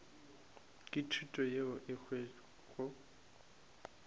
ke thuto yeo e hwago